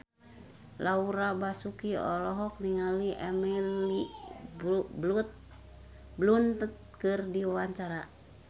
Laura Basuki olohok ningali Emily Blunt keur diwawancara